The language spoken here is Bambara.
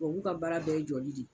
Tubabu ka baara bɛɛ ye jɔli de ye.